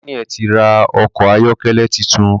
Daniel tí ra Ọkọ̀ ayọ́kẹ́lẹ́ títún.